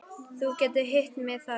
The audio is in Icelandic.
Þú getur hitt mig þar.